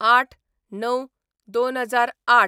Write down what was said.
०८/०९/२००८